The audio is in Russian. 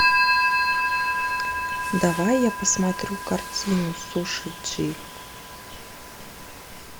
давай я посмотрю картинку суши джи